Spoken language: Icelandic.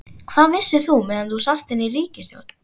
Hvað vissir þú meðan þú sast inni í ríkisstjórn?